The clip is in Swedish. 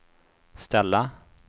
ställa